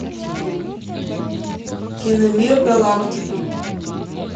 киномир галактика